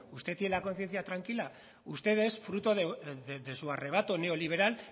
usted tiene la conciencia tranquila ustedes fruto de su arrebato neoliberal